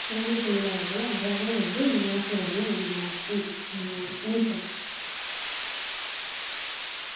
குழந்தை தொழிலாளர்களை அறவே வந்து இந்த நாட்டுல இருந்து ஆஹ் நீக்கணும்.